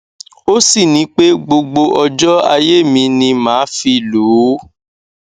ó sì ní pé gbogbo ọjọ ayé mi ni màá fi lò ó